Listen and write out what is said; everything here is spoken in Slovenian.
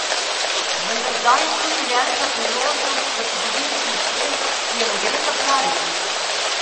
Vendar zdaj je tu življenjska priložnost za zgodovinski uspeh, ki je ne gre zapraviti!